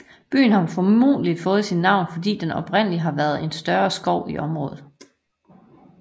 Byen har formodentlig fået sit navn fordi der oprindelig har været en større skov i området